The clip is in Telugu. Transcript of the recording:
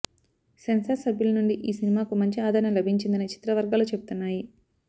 సెన్సార్ సభ్యుల నుండి ఈ సినిమాకు మంచి ఆదరణ లభించిందని చిత్ర వర్గాలు చెబుతున్నాయి